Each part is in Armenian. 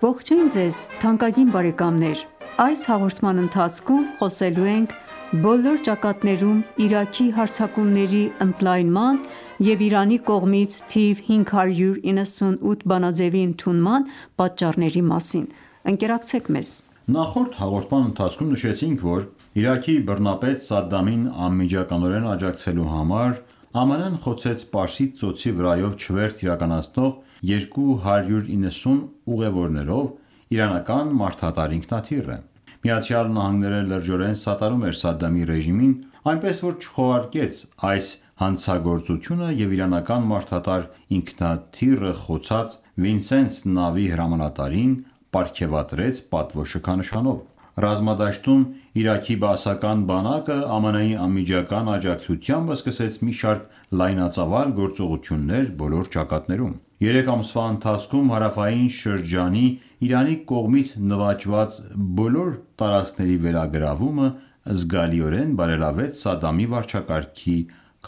Ողջույն ձեզ թանկագին բարեկամներ: Այս հաղորդման ընթացքում խոսելու ենք բոլոր ճակատներում Իրաքի հարձակումների ընդլայնման և Իրանի կողմից թիվ 598 բանաձևի ընդունման պատճառների մասին: Ընկերակցեք մեզ: Նախորդ հաղորդման ընթացքում նշեցինք, որ Իրաքի բռնապետ Սադամին անմիջականորեն աջակցելու համար ԱՄՆ-ն ​​խոցեց Պարսից ծոցի վրայով չվերթ իրականացնող 290 ուղեւորներով իրանական մարդատար ինքնաթիռը։ ԱՄՆ-ն ​​լրջորեն սատարում էր Սադդամի ռեժիմին, այնպես որ չքողարկեց այս հանցագործությունը և իրանական մարդատար ինքնաթիռը խոցած Վինսեննս նավի հրամանատարին պարգևատրեց պատվո շքանշանով։ Ռազմադաշտում Իրաքի բաասական բանակը, ԱՄՆ-ի անմիջական աջակցությամբ, սկսեց մի շարք լայնածավալ գործողություններ բոլոր ճակատներում։ Երեք ամսվա ընթացքում հարավային շրջանի Իրանի կողմից նվաճված բոլոր տարածքների վերագրավումը զգալիորեն բարելավեց Սադամի վարչակարգի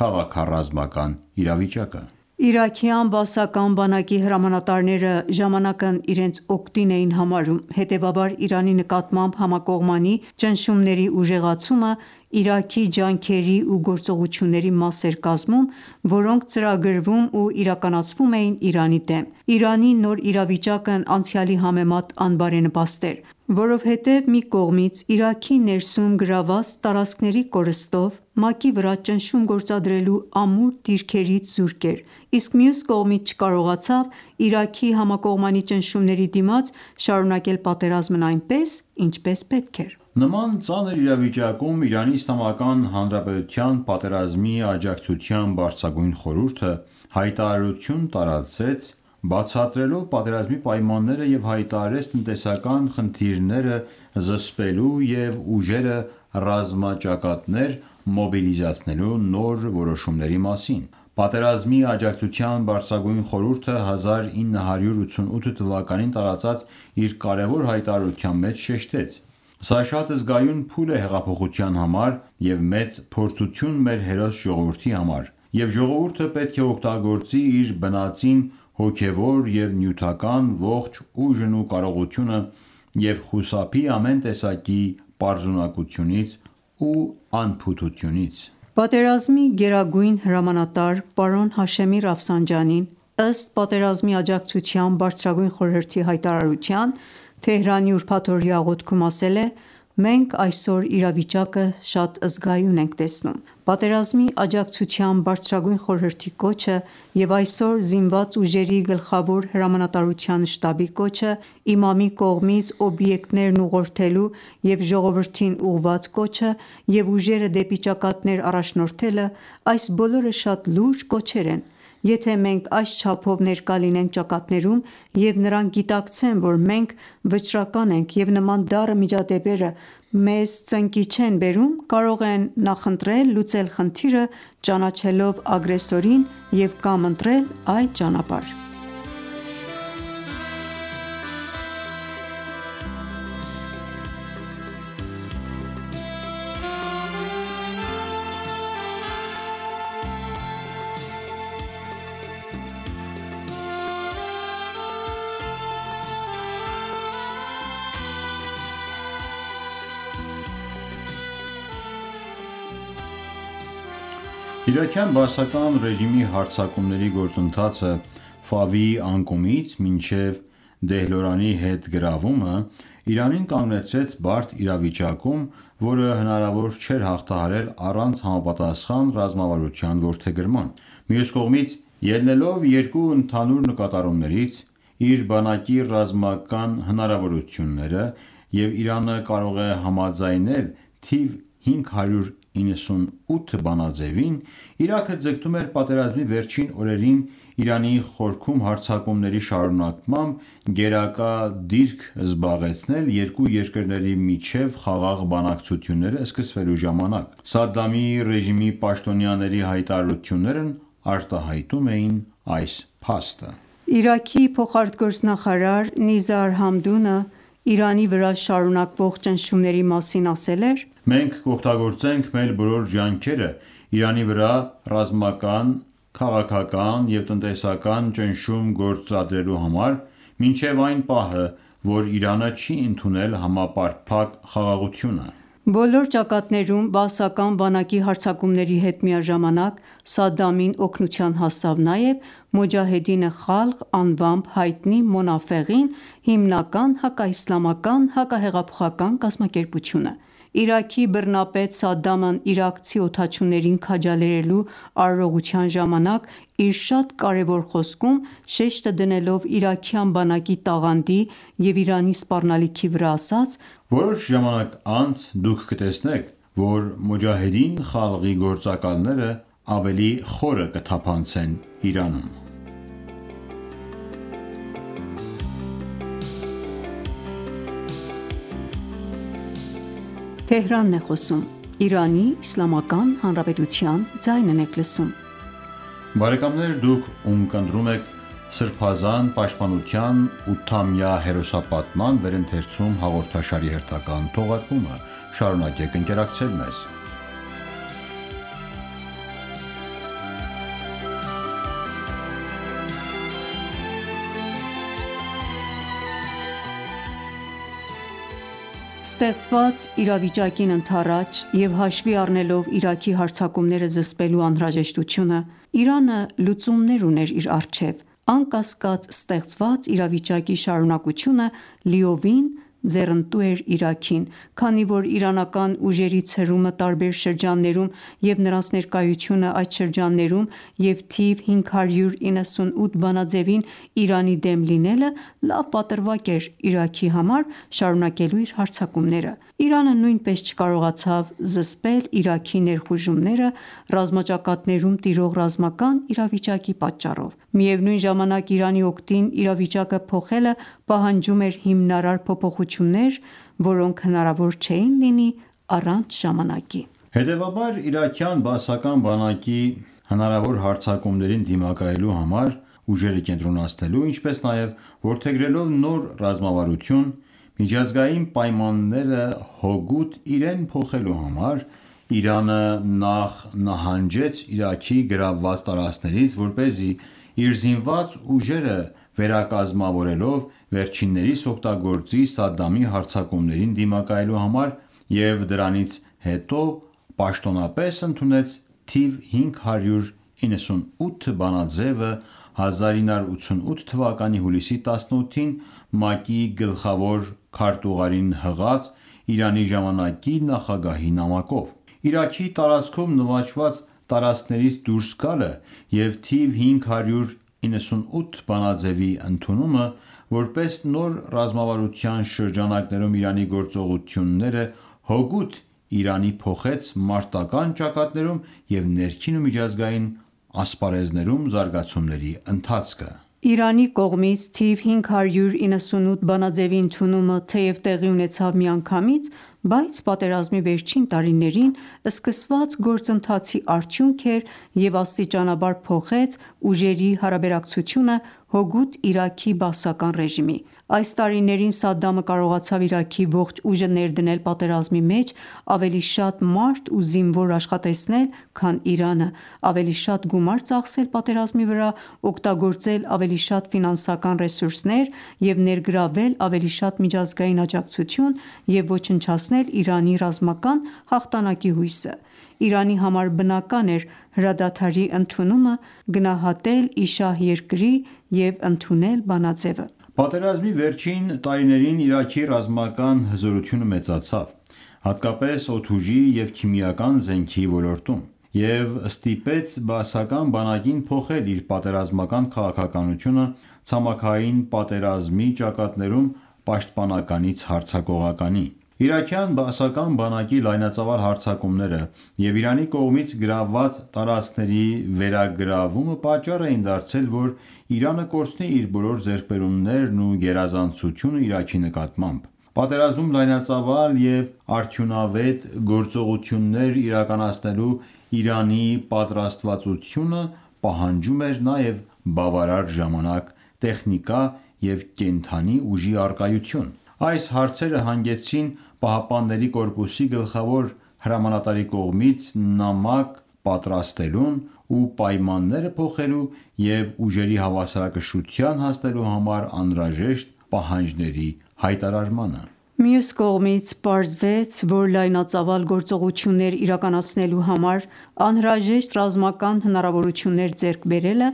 քաղաքառազմական իրավիճակը։ Իրաքյան բաասական բանակի հրամանատարները ժամանակն իրենց օգտին էին համարում, հետևաբար Իրանի նկատմամբ համակողմանի ճնշումների ուժեղացումը Իրաքի ջանքերի ու գործողությունների մաս էր կազմում, որոնք ծրագրվում ու իրականացվում էին Իրանի դեմ։ Իրանի նոր իրավիճակն անցյալի համեմատ անբարենպաստ էր, որովհետև մի կողմից՝ Իրաքի ներսում գրավված տարածքների կորստով, ՄԱԿ-ի վրա ճնշում գործադրելու ամուր դիրքերից զուրկ էր, իսկ մյուս կողմից՝ չկարողացավ Իրաքի համակողմանի ճնշումների դիմաց շարունակել պատերազմն այնպես, ինչպես պետք էր: Նման ծանր իրավիճակում Իրանի Իսլամական Հանրապետության Պատերազմի աջակցության բարձրագույն խորհուրդը հայտարարություն տարածեց՝ բացատրելով պատերազմի պայմանները և հայտարարեց տնտեսական խնդիրները զսպելու և ուժերը ռազմաճակատներ մոբիլիզացնելու նոր որոշումների մասին։ Պատերազմի աջակցության բարձրագույն խորհուրդը 1988թ. տարարծած իր կարևոր հայտարարության մեջ շեշտեց.«Սա շատ զգայուն փուլ է հեղափոխության համար և մեծ փորձություն մեր հերոս ժողովրդի համար, և ժողովուրդը պետք է օգտագործի իր բնածին, հոգևոր և նյութական ողջ ուժն ու կարողությունը և խուսափի ամեն տեսակի պարզունակությունից ու անփութությունից»։ Պատերազմի գերագույն հրամանատար պարոն Հաշեմի Ռաֆսանջանին, ըստ Պատերազմի աջակցության բարձրագույն խորհրդի հայտարարության, Թեհրանի ուրբաթօրյա աղոթքում ասել է.«Մենք այսօր իրավիճակը շատ զգայուն ենք տեսնում, պատերազմի աջակցության բարձրագույն խորհրդի կոչը և այսօր ԶՈՒ գլխավոր հրամանատարության շտաբի կոչը, իմամի կողմից օբյեկտներն ուղղորդելու և ժողովրդին ուղղված կոչը և ուժերը դեպի ճակատներ առաջնորդելը, այս բոլորը շատ լուրջ կոչեր են... Եթե մենք այս չափով ներկա լինենք ճակատներում և նրանք գիտակցեն, որ մենք վճռական ենք և նման դառը միջադեպերը մեզ ծնկի չեն բերում, կարող են նախընտրել լուծել խնդիրը՝ ճանաչելով ագրեսորին և կամ ընտրել այլ ճանապարհ»: Իրաքյան բաասական ռեժիմի հարձակումների գործընթացը՝ Ֆավի անկումից մինչև Դեհլորանի հետ գրավումը, Իրանին կանգնեցրեց բարդ իրավիճակում, որը հնարավոր չէր հաղթահարել առանց համապատասխան ռազմավարության որդեգրման: Մյուս կողմից, ելնելով երկու ընդհանուր նկատառումներից՝ «իր բանակի ռազմական հնարավորությունները» և «Իրանը կարող է համաձայնել թիվ 598 բանաձևին» Իրաքը ձգտում էր պատերազմի վերջին օրերին, Իրանի խորքում հարձակումների շարունակմամբ, գերակա դիրք զբաղեցնել՝ երկու երկրների միջև խաղաղ բանակցությունները սկսվելու ժամանակ։ Սադամի ռեժիմի պաշտոնյաների հայտարարություններն արտահայտում էին այս փաստը: Իրաքի փոխարտգործնախարար Նիզար Համդունը Իրանի վրա շարունակվող ճնշումների մասին ասել էր.«Մենք կօգտագործենք մեր բոլոր ջանքերը՝ Իրանի վրա ռազմական, քաղաքական և տնտեսական ճնշում գործադրելու համար, մինչև այն պահը, որ Իրանը չի ընդունել համապարփակ խաղաղությունը»: Բոլոր ճակատներում բաասական բանակի հարձակումների հետ միաժամանակ Սադդամին օգնության հասավ նաև «Մոջահեդին Խալղ» անվամբ հայտնի Մոնաֆեղին, հիմնական հակաիսլամական հակահեղափոխական կազմակերպությունը: Իրաքի բռնապետ Սադդամն իրաքցի օդաչուներին քաջալերելու արարողության ժամանակ իր շատ կարևոր խոսքում շեշտը դնելով իրաքյան բանակի տաղանդի և Իրանի սպառնալիքի վրա ասաց.«Որոշ ժամանակ անց դուք կտեսնեք, որ Մոջահեդին Խալղի գործակալները ավելի խորը կթափանցեն Իրանում»: Ստեղծված իրավիճակին ընդառաջ և հաշվի առնելով Իրաքի հարձակումները զսպելու անհրաժեշտությունը, Իրանը լուծումներ ուներ իր առջև, անկասկած, ստեղծված իրավիճակի շարունակությունը լիովին ձեռնտու էր Իրաքին, քանի որ իրանական ուժերի ցրումը տարբեր շրջաններում և նրանց ներկայությունը շրջաններում և թիվ 598 բանաձևին Իրանի դեմ լինելը լավ պատրվակ էր Իրաքի համար՝ շարունակելու իր հարձակումները: Իրանը նույնպես չկարողացավ զսպել Իրաքի ներխուժումները՝ ռազմաճակատներում տիրող ռազմական իրավիճակի պատճառով։ Միևնուն ժամանակ Իրանի օգտին իրավիճակը փոխելը պահանջում էր հիմնարար փոփոխություններ, որոնք հնարավոր չէին լինի առանց ժամանակի: Հետևաբար, իրաքյան բաասական բանակի հնարավոր հարձակումներին դիմակայելու համար ուժերը կենտրոնացնելու, ինչպես նաև, որդեգրելով նոր ռազմավարություն, միջազգային պայմանները հօգուտ իրեն փոխելու համար, Իրանը նախ նահանջեց Իրաքի գրավված տարածքներից՝ որպեսզի իր զինված ուժերը վերակազմավորելով վերջիններիս օգտագործի Սադդամի հարձակումներին դիմակայելու համար և դրանից հետո պաշտոնապես ընդունեց թիվ 598 բանաձևը` 1988 թվականի հուլիսի 18-ին՝ ՄԱԿ-ի գլխավոր քարտուղարին հղած Իրանի ժամանակի նախագահի նամակով: Իրաքի տարածքում նվաճված տարածքներից դուրս գալը և թիվ 598 բանաձևի ընդունումը որպես նոր ռազմավարության շրջանակներում Իրանի գործողությունները հօգուտ Իրանի փոխեց մարտական ​​ճակատներում և ներքին ու միջազգային ասպարեզներում զարգացումների ընթացքը: Իրանի կողմից թվ 598 բանաձևի ընդունումը, թեև տեղի ունեցավ միանգամից, բայց պատերազմի վերջին տարիներին սկսված գործընթացի արդյունք էր և աստիճանաբար փոխեց ուժերի հարաբերակցությունը հօգուտ Իրաքի Բաասական ռեժիմի: Այս տարիներին Սադդամը կարողացավ Իրաքի ողջ ուժը ներդնել պատերազմի մեջ, ավելի շատ մարդ ու զինվոր աշխատեցնել, քան Իրանը, ավելի շատ գումար ծախսել պատերազմի վրա, օգտագործել ավելի շատ ֆինանսական ռեսուրսներ և ներգրավել ավելի շատ միջազգային աջակցություն և ոչնչացնել Իրանի ռազմական հաղթանակի հույսը: Իրանի համար բնական էր հրադադարի ընդունումը գնահատել ի շահ երկրի և ընդունել բանաձեւը։ Պատերազմի վերջին տարիներին Իրաքի ռազմական հզորությունը մեծացավ, հատկապես օդուժի և քիմիական զենքի ոլորտում, և ստիպեց բաասական բանակին փոխել իր պատերազմական քաղաքականությունը ցամաքային պատերազմի ճակատներում պաշտպանականից հարձակողականի: Իրաքյան բաասական բանակի լայնածավալ հարձակումները և Իրանի կողմից գրավված տարածքների վերագրավումը պատճառ էին դարձել, որ Իրանը կորցնի իր բոլոր ձեռքբերումներն ու գերազանցությունը Իրաքի նկատմամբ։ Պատերազմում լայնածավալ և արդյունավետ գործողություններ իրականացնելու Իրանի պատրաստվածությունը պահանջում էր նաև բավարար ժամանակ, տեխնիկա և կենդանի ուժի առակայություն։ Այս հարցերը հանգեցրին ԻՀՊԿ-ի գլխավոր հրամանատարի կողմից նամակ պատրաստելուն ու պայմանները փոխելու և ուժերի հավասարակշռության հասնելու համար անհրաժեշտ պահանջների հայտարարմանը։ Մյուս կողմից, պարզվեց, որ լայնածավալ գործողություններ իրականացնելու համար անհրաժեշտ ռազմական հնարավորություններ ձեռք բերելը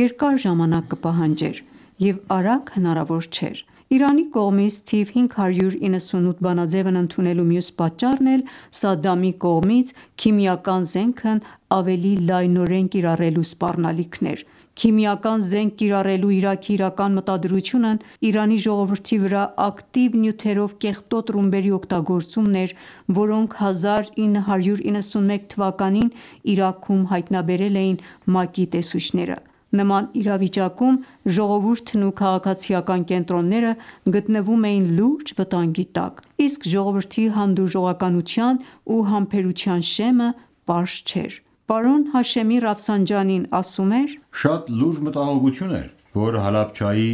երկար ժամանակ կպահանջեր և արագ հնարավոր չէր։ Իրանի կողմից թիվ 598 բանաձեւն ընդունելու մյուս պատճառն էլ Սադդամի կողմից քիմիական զենքն ավելի լայնորեն կիրառելու սպառնալիքն էր: Քիմիական զենք կիրառելու Իրաքի իրական մտադրությունն Իրանի ժողովրդի վրա ակտիվ նյութերով կեղտոտ ռումբերի օգտագործումն էր, որոնք 1991 թվականին Իրաքում հայտնաբերել էին ՄԱԿ-ի տեսուչները: Նման իրավիճակում ժողովուրդն ու քաղաքացիական կենտրոնները գտնվում էին լուրջ վտանգի տակ, իսկ ժողովրդի հանդուրժողականության ու համբերության շեմը պարզ չէր։ Պարոն Հաշեմի Ռաֆսանջանին ասում էր.«Շատ լուրջ մտահոգություն էր, որ Հալաբջայի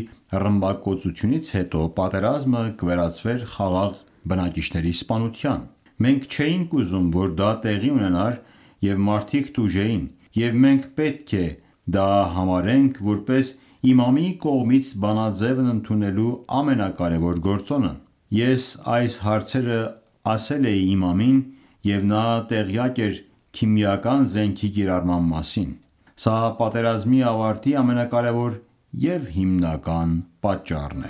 ռմբակոծությունից հետո պատերազմը կվերածվեր խաղաղ բնակիչների սպանության: Մենք չէինք ուզում, որ դա տեղի ունենար, և մարդիկ տուժեին, և մենք պետք է դա համարենք, որպես, Իմամի կողմից բանաձեւն ընդունելու ամենակարևոր գործոնը: Ես այս հարցերը ասել էի իմամին, և նա տեղյակ էր քիմիական զենքի կիրառման մասին: Սա պատերազմի ավարտի ամենակարևոր և հիմնական պատճառն